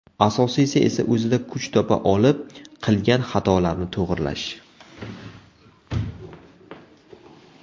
Asosiysi esa o‘zida kuch topa olib qilgan xatolarni to‘g‘rilash.